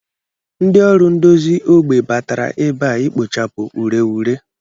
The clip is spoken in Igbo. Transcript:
Ndị ọrụ ndozi ógbè batara ebe a ikpochapụ ureghure